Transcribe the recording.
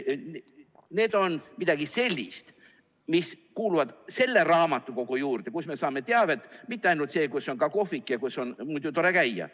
Need on midagi sellist, mis kuuluvad selle raamatukogu juurde, kust me saame teavet, mitte ainult seda, kus on ka kohvik ja kus on muidu tore käia.